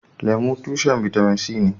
Lemu, tushen bitamin C ne.